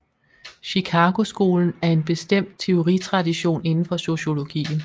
Chicagoskolen er en bestemt teoritradition inden for sociologien